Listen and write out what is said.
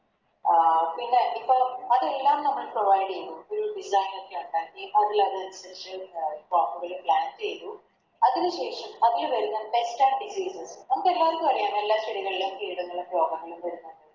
അഹ് പിന്നെ ഇപ്പൊ അതെല്ലാം നമ്മള് Provide ചെയ്തു ചെയ്തു അതിനു ശേഷം അതിനു വരുന്ന Sects and diseases നമുക്കെല്ലാർക്കും അറിയാം എല്ലാ ചെടികളിലും കീടങ്ങളും രോഗങ്ങളും വര്ന്ന്ണ്ട്ന്ന്